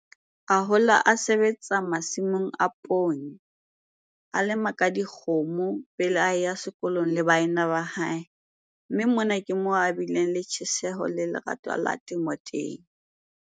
A hola a sebetsa masimong a poone, a lema ka dikgomo pele a ya sekolong le baena ba hae, mme mona ke moo a bileng le tjheseho le lerato la temo teng.